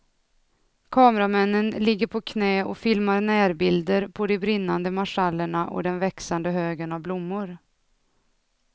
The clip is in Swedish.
Kameramännen ligger på knä och filmar närbilder på de brinnande marschallerna och den växande högen av blommor.